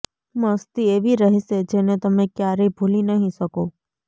મસ્તી એવી રહેશે જેને તમે ક્યારેય ભૂલી નહીં શકો